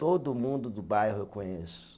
Todo mundo do bairro eu conheço.